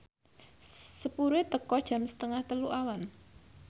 sepure teka jam setengah telu awan